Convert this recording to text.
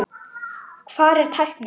Hvar er tæknin?